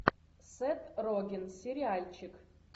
сет роген сериальчик